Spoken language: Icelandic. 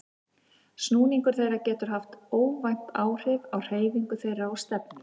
Snúningur þeirra getur haft óvænt áhrif á hreyfingu þeirra og stefnu.